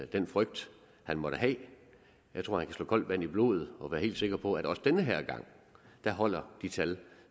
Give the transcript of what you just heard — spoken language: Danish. den frygt han måtte have jeg tror han kan slå koldt vand i blodet og være helt sikker på at også den her gang holder de tal